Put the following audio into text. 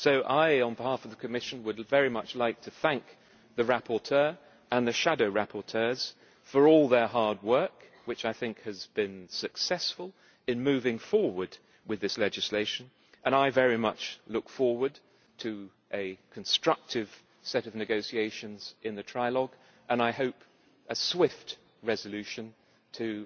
So I, on behalf of the Commission, would very much like to thank the rapporteur and the shadow rapporteurs for all their hard work, which I think has been successful in moving forward with this legislation, and I very much look forward to a constructive set of negotiations in the trilogue and, I hope, a swift resolution to